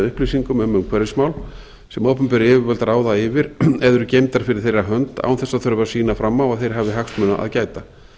upplýsingum um umhverfismál sem opinber yfirvöld ráða yfir eða eru geymdar fyrir þeirra hönd án þess að sýna fram á að þeir hafi hagsmuna að gæta